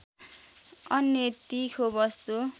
अन्य तीखो वस्तु